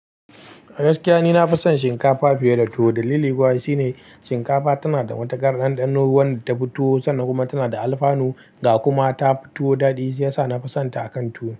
Gaskiya ni nafi son shinkafa fiye da tuwo dalili kuwa shine shinkafa tana da wata ƙar ɗanɗano wadda ta fi tuwo sannan kuma tana da alfanu ga kuma ta fi tuwo daɗi sai ya sa na fi son ta akan tuwo.